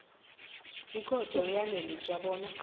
ikhotho iyaneliswa bona